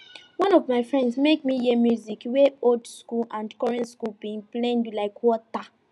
one of my friends make me hear music wey old school and current sounds bin blend like water